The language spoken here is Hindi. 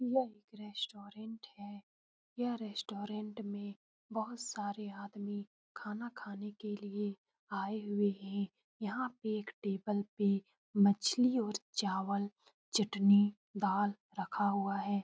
यह रेस्टोरेंट है यह रेस्टोरेंट में बहुत सारे आदमी खाना खाने के लिए आए हुए है यहाँ पे एक टेबल में मछली और चावल चटनी दाल रखा हुआ है।